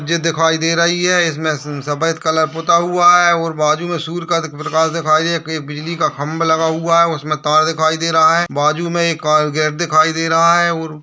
मस्जिद दिखाई दे रही है इसमें स-सफ़ेद कलर पुता हुआ है और बाजु में सूर्य का प्रकाश दिखाई कहीं बिजली का खंभा लगा हुआ है उसमे तार दिखाई दे रहा है बाजू में एक का गेट दिखाई दे रहा है और --